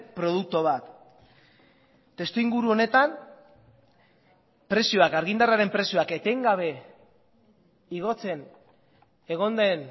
produktu bat testuinguru honetan argindarraren prezioak etengabe igotzen egon den